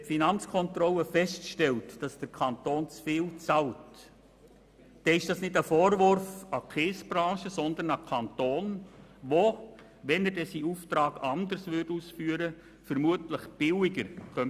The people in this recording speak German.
Wenn die Finanzkontrolle feststellt, dass der Kanton zu viel bezahlt, ist das kein Vorwurf an die Kiesbranche, sondern an den Kanton, der, wenn er denn seinen Auftrag anders ausführen würde, vermutlich billiger bauen könnte.